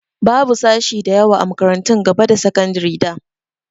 Babu sashi da yawa a makarantun gaba da sakandari da.